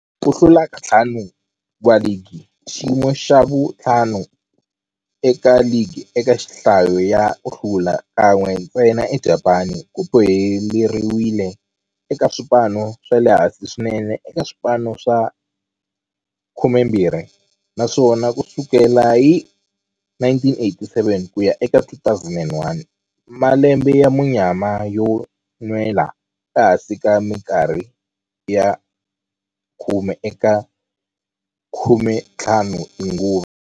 Ku hlula ka ntlhanu wa ligi, xiyimo xa vu-5 eka ligi eka nhlayo ya ku hlula, kan'we ntsena eJapani, ku boheleriwile eka swipano swa le hansi swinene eka swipano swa 12, naswona ku sukela hi 1987 ku ya eka 2001, malembe ya munyama yo nwela ehansi minkarhi ya khume eka 15 tinguva.